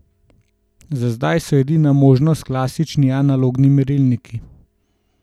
Za zdaj so edina možnost klasični analogni merilniki.